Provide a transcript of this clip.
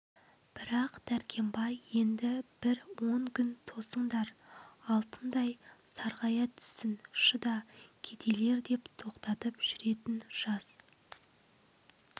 бірақ дәркембай енді бір он күн тосындар алтындай сарғая түссін шыда кедейлер деп тоқтатып жүретін жас